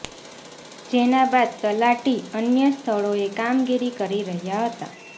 જેના બાદ તલાટી અન્ય સ્થળોએ કામગીરી કરી રહ્યા હતા